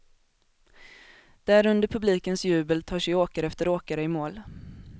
Där under publikens jubel tar sig åkare efter åkare i mål.